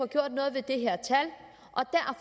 gjort noget ved det her tal